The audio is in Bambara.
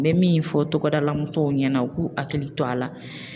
Me min fɔ togodala musow ɲɛna u k'u hakili to a la